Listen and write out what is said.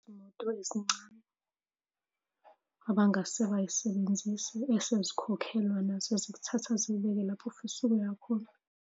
Izimoto ezincane abangase bay'sebenzise esezikhokhelwa nazo zikuthatha zikubeke lapho ofisa ukuya khona.